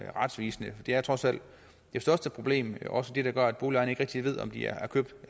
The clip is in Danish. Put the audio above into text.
retvisende det er trods alt det største problem og også det der gør at boligejerne ikke rigtig ved om de er købt eller